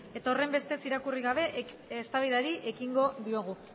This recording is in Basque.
eta horrenbestez irakurri gabe eztabaidari ekingo diogu